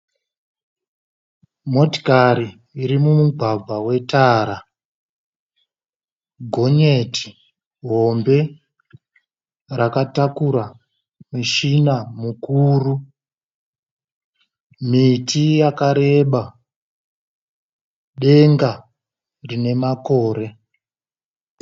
Motikari iri mumugwagwa wetara. Gonyeti hombe rakatakura mushina mukuru. Miti mikuru, denga rine makore.